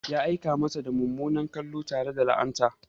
Ya aika mata da mummunan kallo tare da la'anta.